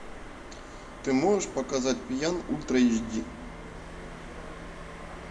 ты можешь показать пьян ультра эйч ди